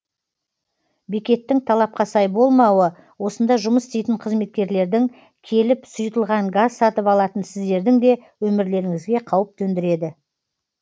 бекеттің талапқа сай болмауы осында жұмыс істейтін қызметкерлердің келіп сұйытылған газ сатып алатын сіздердің де өмірлеріңізге қауіп төндіреді